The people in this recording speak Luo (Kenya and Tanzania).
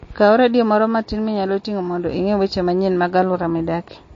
Kaw redio moro matin minyalo ting'o mondo ing'e weche manyien mag alwora midakie.